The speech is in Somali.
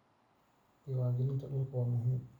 Diiwaangelinta dhulku waa muhiim